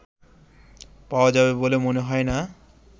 পাওয়া যাবে বলে মনে হয় না